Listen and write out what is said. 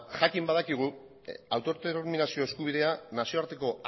jakin badakigu autodeterminazio eskubidea nazioarteko